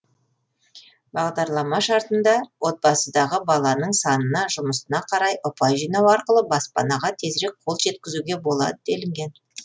бағдарлама шартында отбасыдағы баланың санына жұмысына қарай ұпай жинау арқылы баспанаға тезірек қол жеткізуге болады делінген